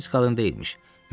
Pis qadın deyilmiş.